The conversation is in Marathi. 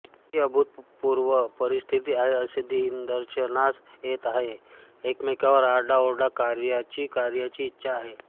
ही अभूतपूर्व परिस्थिती आहे असे निदर्शनास येत आहे की एकमेकांवर आरडाओरडा कार्याचीकार्याची इच्छा आहे